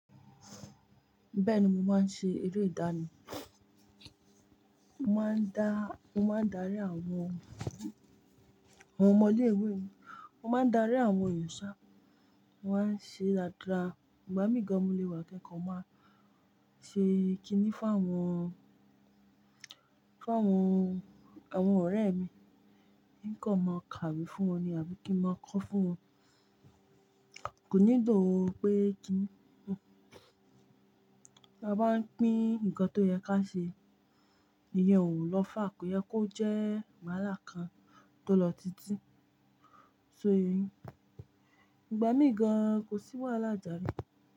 Bẹ́ẹ̀ni mo máa ń ṣe eré ìdáná. Mo máa ń darí àwọn ọmọ lé ìwée mi, mo máa ń darí àwọn ero sha, wọ́n ma ṣe dada. Ìgbà mí gan-an mò lè wà kikọ̀ọ́, máa ṣe kíní fún àwọn ọ̀rẹ́ mi, nkan máa kàwé fún wọn ni àbí kí n máa kọ́ fún wọn. Kò ní ló pé kí ni. Bí a bá ń pín nǹkan tó yẹ ká ṣe, eyen ò lọ́fà, kò yẹ kó jẹ́ wàhálà kan tó lọ títí. Soyeyi, ìgbà mí gan-an kò sí wàhálà jare.